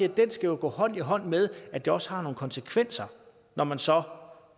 at den skal gå hånd i hånd med at det også har nogle konsekvenser når man så